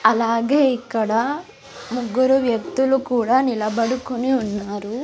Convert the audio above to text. అలాగే ఇక్కడ ముగ్గురు వ్యక్తులు కూడా నిలబడుకుని ఉన్నారు.